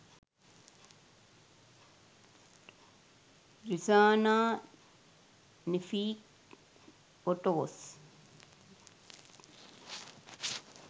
rizana nafeek photos